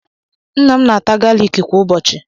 Nna m na-ata galịkị kwa ụbọchị.